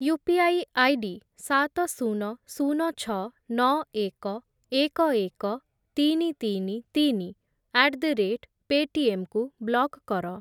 UPI ID ସାତ, ଶୂନ, ଶୂନ, ଛଅ, ନଅ, ଏକ, ଏକ, ଏକ, ତିନି, ତିନି, ତିନି, ଆଟ୍ ଦ ରେଟ୍ ପେଟିଏମ୍ କୁ ବ୍ଲକ୍ କର।